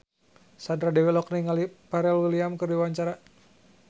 Sandra Dewi olohok ningali Pharrell Williams keur diwawancara